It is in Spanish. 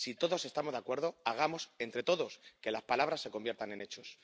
Si todos estamos de acuerdo, hagamos entre todos que las palabras se conviertan en hechos.